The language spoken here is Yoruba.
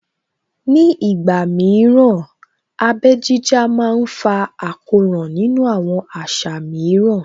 Ní ìgbà mìíràn, abẹ́ jíjá má ń fa àkóràn nínú àwọn àṣà mìíràn